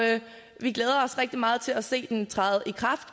vi glæder os rigtig meget til at se den træde i kraft